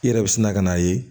I yɛrɛ bɛ sina ka n'a ye